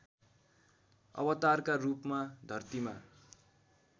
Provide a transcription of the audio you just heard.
अवतारका रूपमा धर्तीमा